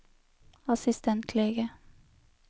assistentlege